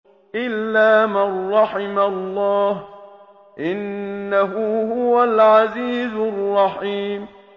إِلَّا مَن رَّحِمَ اللَّهُ ۚ إِنَّهُ هُوَ الْعَزِيزُ الرَّحِيمُ